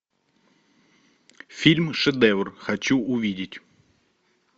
фильм шедевр хочу увидеть